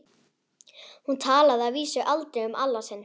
Hún talaði að vísu aldrei um Alla sinn.